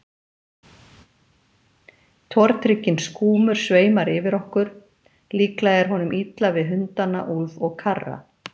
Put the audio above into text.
Tortrygginn skúmur sveimar yfir okkur, líklega er honum illa við hundana Úlf og Karra.